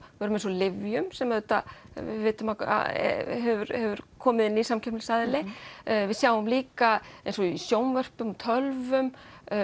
lyfjum sem við vitum að hefur komið inn nýr samkeppnisaðili við sjáum líka eins og í sjónvörpum tölvum